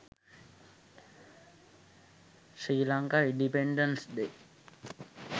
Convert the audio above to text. sri lanka independence day